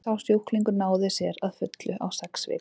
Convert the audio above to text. sá sjúklingur náði sér að fullu á sex vikum